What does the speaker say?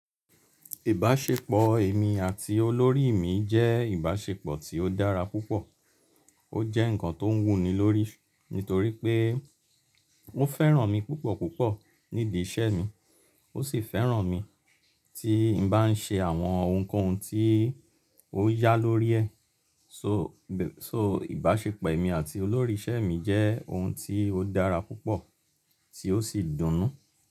Ìbáṣepọ̀ èmi àti olórí mi jẹ́ ìbáṣepọ̀ tí ó dára púpọ̀. Ó jẹ́ ǹkan tó ń wù ni lórí nítorí pé won fẹ́ràn mi púpọ̀ púpọ̀ níbí iṣẹ́ mi. Ó sì fẹ́ràn mi tí n bá n ṣe àwọn ohunkóhun tí ó yá lórí ẹ̀. So, so ìbáṣepọ̀ èmi àti olórí iṣẹ́ mi jẹ́ ohun tí ó dára púpọ̀ tí ó sì dùn nú.